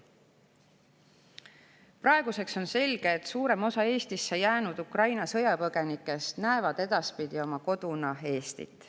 Praeguseks on selge, et suurem osa Eestisse jäänud Ukraina sõjapõgenikest näevad edaspidi oma koduna Eestit.